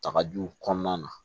Takajuw kɔnɔna na